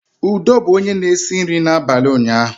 Udo bụ onye na-esi nri abalị ụnyaahụ